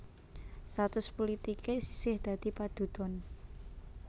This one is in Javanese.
Status pulitiké isih dadi padudon